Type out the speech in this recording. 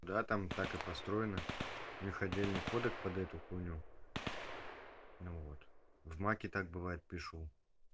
да там так и построены у них отдельный кодек под эту хуйню ну вот в маке так бывает пишу